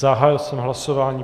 Zahájil jsem hlasování.